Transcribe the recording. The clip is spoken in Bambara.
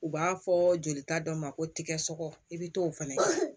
U b'a fɔ jolita dɔ ma ko tigɛ sɔgɔ i bɛ t'o fana